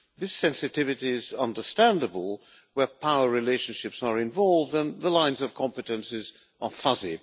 These sensitivity is understandable where power relationships are involved and the lines of competences are fuzzy.